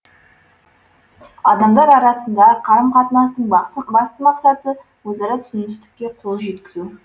адамдар арасындағы қарым қатынастың басты мақсаты өзара түсіністікке қол жеткізу